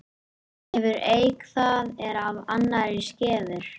Hefur eik það er af annarri skefur.